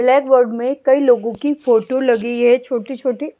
black board में कई लोगों की फोटो लगी है छोटी-छोटी--